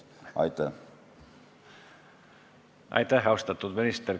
Aitäh, austatud minister!